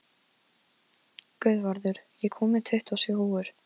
Guðvarður, ég kom með tuttugu og sjö húfur!